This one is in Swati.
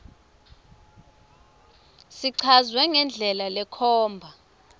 sichazwe ngendlela lekhomba